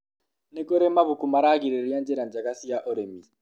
ni kũrĩ mabuku maragĩrĩria njĩra njega cia ũrĩmi